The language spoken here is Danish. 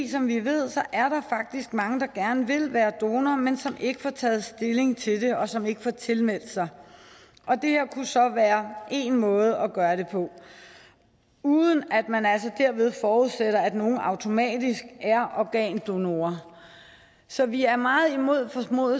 som vi ved faktisk mange der gerne vil være donor men som ikke får taget stilling til det og som ikke får tilmeldt sig det her kunne så være én måde at gøre det på uden at man altså derved forudsætter at nogen automatisk er organdonor så vi er meget imod